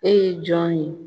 E ye jɔn ye?